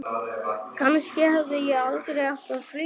Kannski hefði ég aldrei átt að flýja.